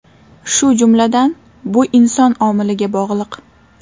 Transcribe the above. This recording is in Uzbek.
Shu jumladan, bu inson omiliga bog‘liq.